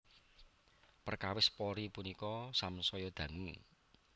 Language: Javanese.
Perkawis Polri punika samsaya dangu